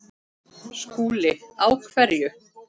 SKÚLI: Á hverju?